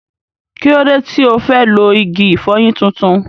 Kí ló dé tí ò fẹ́ lo igi ìfọyín tuntun?